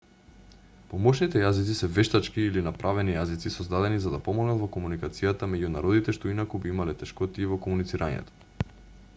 помошните јазици се вештачки или направени јазици создадени за да помогнат во комуникацијата меѓу народите што инаку би имале тешкотии во комуницирањето